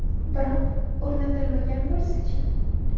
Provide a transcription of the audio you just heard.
Biroq, o‘rnatilmagan bo‘lsa-chi?